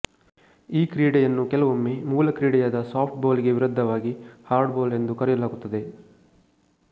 ಈ ಕ್ರೀಡೆಯನ್ನು ಕೆಲವೊಮ್ಮೆ ಮೂಲಕ್ರೀಡೆಯಾದ ಸಾಫ್ಟ್ ಬಾಲ್ ಗೆ ವಿರುದ್ಧವಾಗಿ ಹಾರ್ಡ್ ಬಾಲ್ ಎಂದು ಕರೆಯಲಾಗುತ್ತದೆ